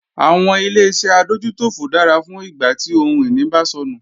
Àwọn Ileṣẹ́ adójútòfò dára fún ìgbà tí ohun ìní bá sọnù